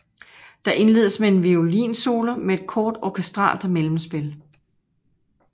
Det indledes med en violinsolo med et kort orkestralt mellemspil